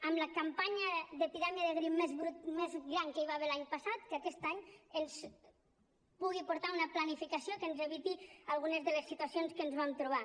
amb la campanya d’epidèmia de grip més gran que hi va haver l’any passat que aquest any ens pugui portar una planificació que ens eviti algunes de les situacions que ens vam trobar